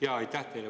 Jaa, aitäh teile!